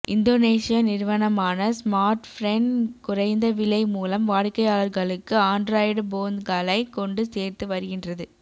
Indonesia நிறுவனமான Smartfren குறைந்த விலை மூலம் வாடிக்கையாளர்களுக்கு ஆன்டிராய்டு போந்களை கொண்டு சேர்த்து வருகின்றது